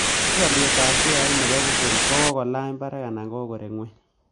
Tos' alyetap sheait ne po google kogolany' barag' anan koreg' ng'weny